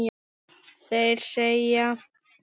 Þeir segja